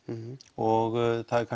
og það er